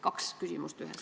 Kaks küsimust ühes.